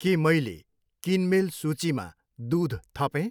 के मैले किनमेल सूचीमा दुध थपेँ?